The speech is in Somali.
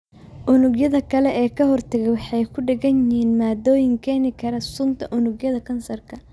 Unugyada kale ee ka-hortagga waxay ku dheggan yihiin maaddooyin keeni kara sunta unugyada kansarka.